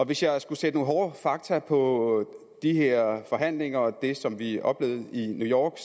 hvis jeg skulle sætte nogle hårde fakta på de her forhandlinger og det som vi oplevede i new york